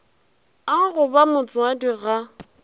a go ba motswadi ga